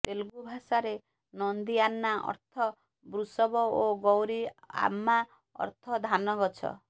ତେଲୁଗୁ ଭାଷାରେ ନନ୍ଦିଆନ୍ନା ଅର୍ଥ ବୃଷବ ଓ ଗୌରୀ ଆମ୍ମା ଅର୍ଥ ଧାନଗଛ